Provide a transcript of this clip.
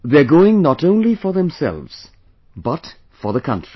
They are going not only for themselves but for the country